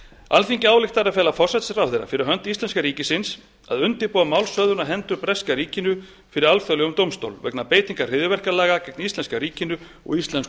alþingi ályktar að fela forsætisráðherra fyrir hönd íslenska ríkisins að undirbúa málshöfðun á hendur breska ríkinu fyrir alþjóðlegum dómstól vegna beitingar hryðjuverkalaga gegn íslenska ríkinu og íslenskum